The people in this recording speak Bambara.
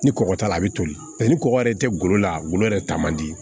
Ni kɔgɔ t'a la a bɛ toli paseke ni kɔgɔ yɛrɛ tɛ golo la golo yɛrɛ ta man di